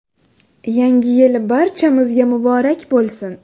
Yangi yil barchamizga muborak bo‘lsin!